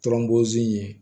Tɔnbɔzi ye